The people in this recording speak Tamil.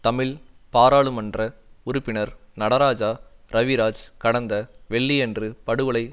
தமிழ் பாராளுமன்ற உறுப்பினர் நடராஜா ரவிராஜ் கடந்த வெள்ளியன்று படுகொலை